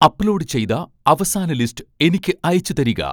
upload ചെയ്ത അവസാന list എനിക്ക് അയച്ചുതരിക